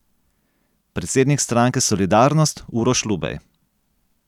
Predsednik stranke Solidarnost Uroš Lubej.